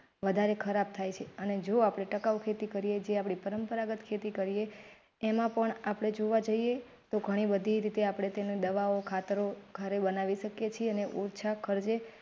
વધારે ખરાબ થાય અને જો આપણે ટકાઉ ખેતી કરીએ. જે પરંપરાગત ખેતી કરીએ એમાં પણ આપણે જોવા જઇએ તો ઘણી બધી રીતે આપણે તેને દવાઓ ખાતરો ઘરે બનાવી શકીએ છે અને ઓછા ખર્ચે.